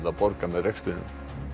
að borga með rekstrinum